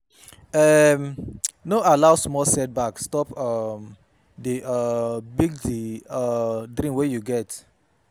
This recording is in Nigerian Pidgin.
um No allow small setback stop um di um big di um big dream wey you get